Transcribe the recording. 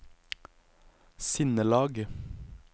sinnelag